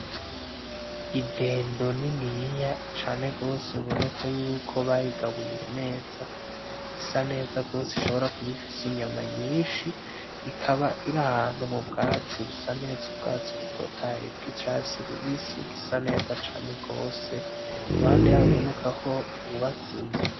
Idendo niniya cane gose biboneka yuko bayigaburiye neza, isa neza gose ishobora kuba ifise inyama nyinshi ikaba iri ahantu mu bwatsi busa neza, ubwatsi butotahaye bw'icatsi rubisi busa neza cane gose, iruhande yaho biboneka ho hubatse inzu.